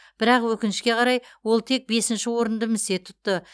бірақ өкінішке қарай ол тек бесінші орынды місе тұтты